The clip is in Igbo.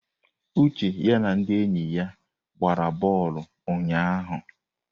Uche ya na ndị enyi ya gbara bọọlụ ụnyahụ.